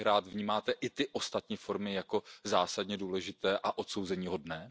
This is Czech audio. Vnímáte i ty ostatní formy jako zásadně důležité a odsouzeníhodné?